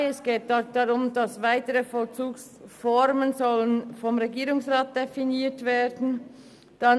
Es geht darum, dass weitere Vollzugsformen vom Regierungsrat definiert werden sollen.